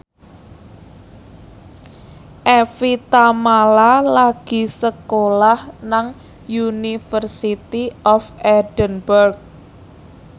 Evie Tamala lagi sekolah nang University of Edinburgh